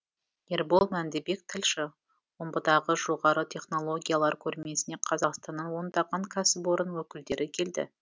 ербол мәндібек тілші омбыдағы жоғары технологиялар көрмесіне қазақстаннан ондаған кәсіпорын өкілдері келді